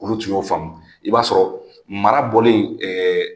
Olu tun y'o faamu, i b'a sɔrɔ mara bɔlen